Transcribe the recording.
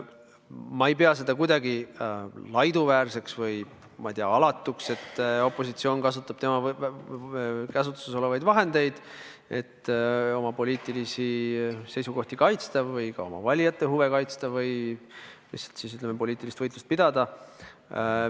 Ma ei pea seda kuidagi laiduväärseks või, ma ei tea, alatuks, et opositsioon kasutab tema käsutuses olevaid vahendeid, et oma poliitilisi seisukohti kaitsta või ka oma valijate huve kaitsta või siis, ütleme, poliitilist võitlust pidada.